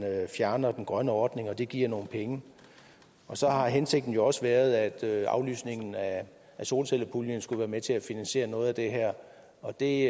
fjerner den grønne ordning og det giver nogle penge så har hensigten jo også været at aflysningen af solcellepuljen skulle være med til at finansiere noget af det her og det